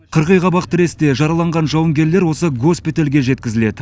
қырғиқабақ тіресте жараланған жауынгерлер осы госпитальге жеткізіледі